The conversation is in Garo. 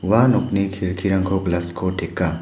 ua nokni kelkirangko glas ko teka.